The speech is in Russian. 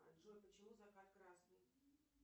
джой почему закат красный